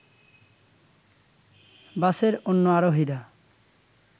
বাসের অন্য আরোহীরা